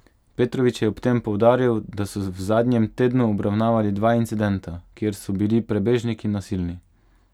Petrovič je ob tem poudaril, da so v zadnjem tednu obravnavali dva incidenta, kjer so bili prebežniki nasilni.